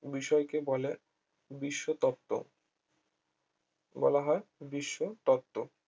বিষয়কে বলে বিশ্ব তত্ত্ব বলা হয় বিশ্ব তত্ত্ব